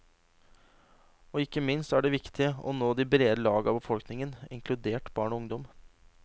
Og ikke minst er det viktig å nå de brede lag av befolkningen, inkludert barn og ungdom.